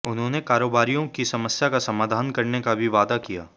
उन्होंने कारोबारियों की समस्या का समाधान करने का भी वादा किया